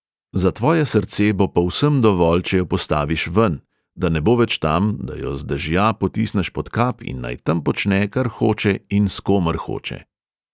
Za tvoje srce bo povsem dovolj, če jo postaviš ven, da ne bo več tam, da jo z dežja potisneš pod kap in naj tam počne, kar hoče in s komer hoče.